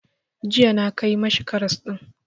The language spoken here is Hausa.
Jiya na kai ma shi karas ɗin.